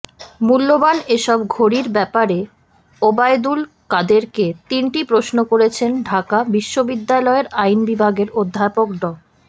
মূল্যবান এসব ঘড়ির ব্যাপারে ওবায়দুল কাদেরকে তিনটি প্রশ্ন করেছেন ঢাকা বিশ্ববিদ্যালয়ের আইন বিভাগের অধ্যাপক ড